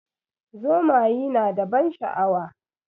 Zomayi na da ban sha'awa.